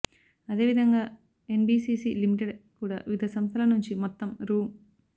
అదేవిధంగా NBCC limited కూడా వివిధ సంస్థల నుంచి మొత్తం రూ